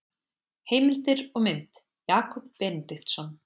Heimildir og mynd Jakob Benediktsson.